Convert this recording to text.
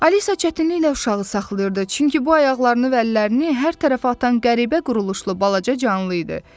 Alisa çətinliklə uşağı saxlayırdı, çünki bu ayaqlarını və əllərini hər tərəfə atan qəribə quruluşlu balaca canlı idi.